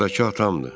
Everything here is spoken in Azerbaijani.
Oradakı atamdır.